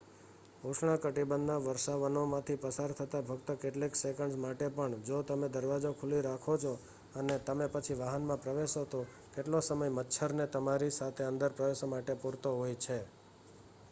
ઉષ્ણકટિબંધ ના વર્ષાવનો માંથી પસાર થતાં ફક્ત કેટલીક સેકન્ડ્સ માટે પણ જો તમે દરવાજો ખુલ્લો રાખો છો અને તમે પછી વાહન માં પ્રવેશો તો એટલો સમય મચ્છર ને તમારી સાથે અંદર પ્રવેશવા માટે પૂરતો હોય છે